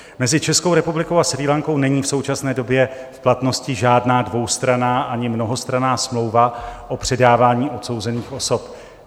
Mezi Českou republikou a Srí Lankou není v současné době v platnosti žádná dvoustranná ani mnohostranná smlouva o předávání odsouzených osob.